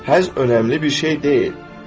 Həzz önəmli bir şey deyil.